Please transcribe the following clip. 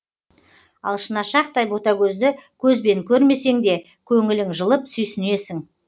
ал шынашақтай бөтагөзді көзбен көрмесеңде көңілің жылып сүйсінесің